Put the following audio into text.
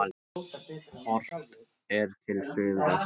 Horft er til suðvesturs.